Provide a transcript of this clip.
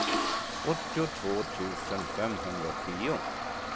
åttiotvå tusen femhundratio